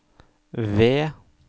ved